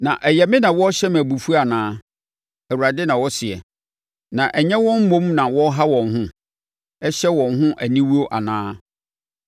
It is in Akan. Na ɛyɛ me na wɔrehyɛ me abufuo anaa? Awurade na ɔseɛ. Na ɛnyɛ wɔn mmom na wɔreha wɔn ho, hyɛ wɔn ho aniwuo anaa?